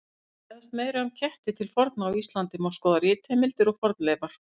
Til að fræðast meira um ketti til forna á Íslandi má skoða ritheimildir og fornleifar.